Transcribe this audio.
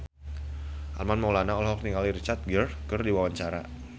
Armand Maulana olohok ningali Richard Gere keur diwawancara